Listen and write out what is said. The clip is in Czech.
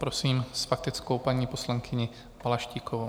Prosím s faktickou paní poslankyni Balaštíkovou.